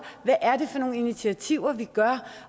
hvad er det for nogle initiativer vi tager